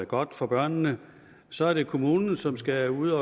godt for børnene så er det kommunen som skal ud